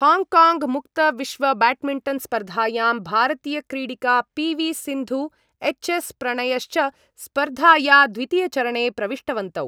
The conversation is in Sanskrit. हाङ्काङ्ग् मुक्तविश्वब्याड्मिण्टन्स्पर्धायां भारतीयक्रीडिका P V Sindhu H S प्रणयश्च स्पर्धाया द्वितीयचरणे प्रविष्टवन्तौ।